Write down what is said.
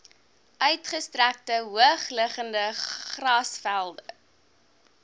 uitgestrekte hoogliggende grasvelde